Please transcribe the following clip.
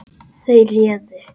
Þau réðu.